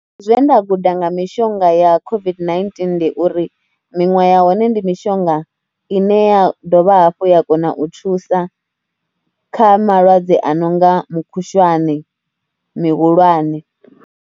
Zwe nda guda nga mishonga ya COVID-19 ndi uri miṅwe ya hone ndi mishonga i ne ya dovha hafhu ya kona u thusa kha malwadze a no nga mukhushwane mihulwane.